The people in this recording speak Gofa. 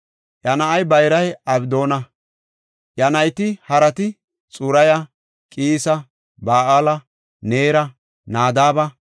Iya na7ay bayray Abdoona; iya nayti harati Xuraya, Qiisa, Ba7aala, Neera, Nadaaba,